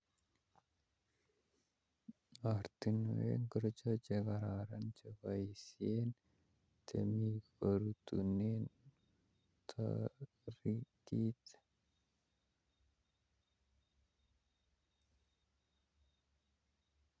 Oratinwek ochon chekororon cheboisien temik korutunen toritik